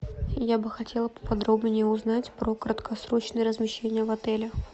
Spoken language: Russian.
я бы хотела поподробнее узнать про краткосрочное размещение в отеле